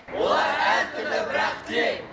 олар әртүрлі бірақ тең